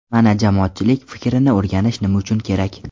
Mana jamoatchilik fikrini o‘rganish nima uchun kerak.